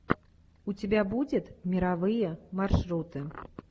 у тебя будет мировые маршруты